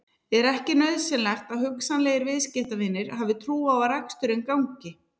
Er ekki nauðsynlegt að hugsanlegir viðskiptavinir hafi trú á að reksturinn gangi?